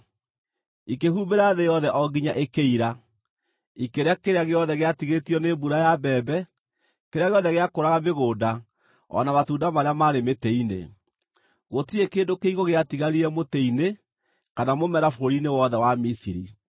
Ikĩhumbĩra thĩ yothe o nginya ĩkĩira. Ikĩrĩa kĩrĩa gĩothe gĩatigarĩtio nĩ mbura ya mbembe, kĩrĩa gĩothe gĩakũraga mĩgũnda o na matunda marĩa maarĩ mĩtĩ-inĩ. Gũtirĩ kĩndũ kĩigũ gĩatigarire mũtĩ-inĩ kana mũmera bũrũri-inĩ wothe wa Misiri.